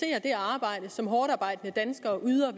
arbejde som hårdtarbejdende danskere yder